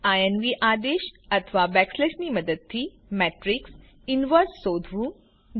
ઇન્વ આદેશ અથવા બેકસ્લેશની મદદથી મેત્રીક્ષનું ઇન્વર્શ શોધવું